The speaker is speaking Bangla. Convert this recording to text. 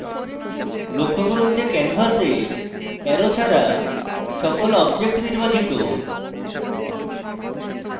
লক্ষ্য করুন যে canvas arrow ছাড়া সকল objects নির্বাচিত